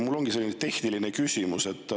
Mul ongi selline tehniline küsimus.